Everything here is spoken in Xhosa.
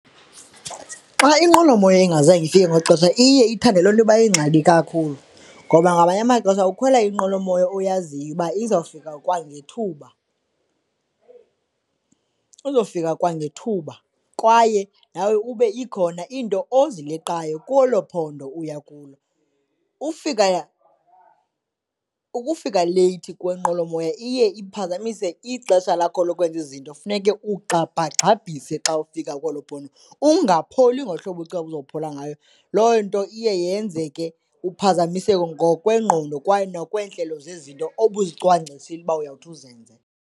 Xa inqwelomoya ingazange ifika ngexesha iye ithande loo nto uba yingxaki kakhulu ngoba ngamanye amaxesha ukhwela inqwelomoya oyaziyo uba izawufika kwangethuba, izofika kwangethuba kwaye nawe ube ikhona iinto ozileqayo kwelo phondo uya kulo. Ufika, ukufika leyithi kwenqwelomoya iye iphazamise ixesha lakho lokwenza izinto, funeke ugxabhagxabhisa xa ufika kwelo phondo, ungapholi ngohlobo ubucinga ukuzophola ngayo. Loo nto iye yenze ke uphazamiseke ngokwengqondo kwaye nokweentlelo zezinto obuzicwangcisile uba uyawuthi uzenze.